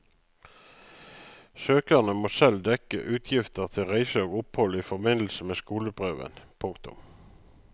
Søkerne må selv dekke utgifter til reise og opphold i forbindelse med skoleprøven. punktum